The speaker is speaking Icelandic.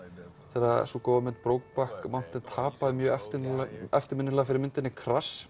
þegar sú góða mynd Brokeback Mountain tapaði mjög eftirminnilega fyrir myndinni